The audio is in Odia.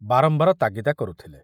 ବାରମ୍ବାର ତାଗିଦା କରୁଥିଲେ।